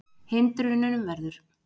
Hindrunum verið rutt úr vegi